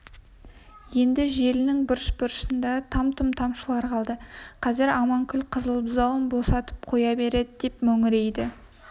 еңді желінінің бұрыш-бұрышыңда там-тұм тамшылар қалды қазір аманкүл қызыл бұзауын босатып қоя береді деп мөңірейді